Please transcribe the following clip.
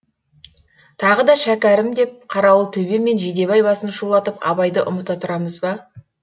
тағы да шәкәрім деп қарауылтөбе мен жидебай басын шулатып абайды ұмыта тұрамыз ба